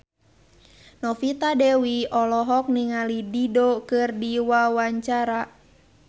Novita Dewi olohok ningali Dido keur diwawancara